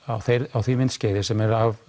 á því myndskeiði sem er